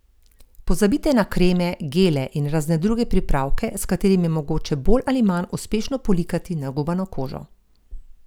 Pozabite na kreme, gele in razne druge pripravke, s katerimi je mogoče bolj ali manj uspešno polikati nagubano kožo.